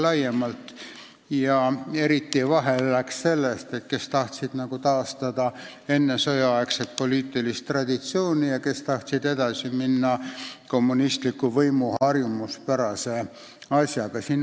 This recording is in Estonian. Eriti tekkis lõhe sellepärast, et oli neid, kes tahtsid taastada ennesõjaaegset poliitilist traditsiooni, ja neid, kes tahtsid edasi minna kommunistliku võimu harjumuspärase asjaga.